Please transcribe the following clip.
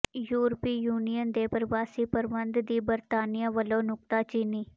ਯੂਰਪੀ ਯੂਨੀਅਨ ਦੇ ਪ੍ਰਵਾਸੀ ਪ੍ਰਬੰਧ ਦੀ ਬਰਤਾਨੀਆ ਵੱਲੋਂ ਨੁਕਤਾਚੀਨੀ